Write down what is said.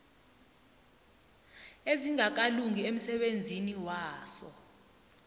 ezingakalungi emsebenzini waso